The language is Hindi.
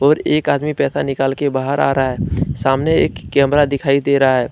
और एक आदमी पैसा निकाल के बाहर आ रहा है सामने एक कैमरा दिखाई दे रहा है।